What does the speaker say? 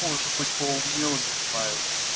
может быть поумнел не знаю